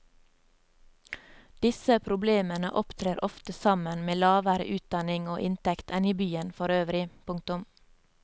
Disse problemene opptrer ofte sammen med lavere utdanning og inntekt enn i byen forøvrig. punktum